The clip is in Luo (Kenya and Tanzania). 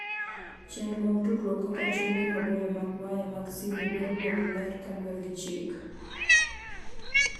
Chenro mag tudruok kaka chumbe maboyo mag waya mag simu dwaro lowo maler kaluwore gi chik.